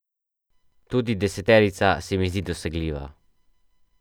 Tudi deseterica se mi zdi dosegljiva.